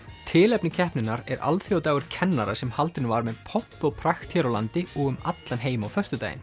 tilefni keppninnar er alþjóðadagur kennara sem haldinn var með pomp og prakt hér á landi og um allan heim á föstudaginn